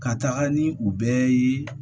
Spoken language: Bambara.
Ka taga ni u bɛɛ ye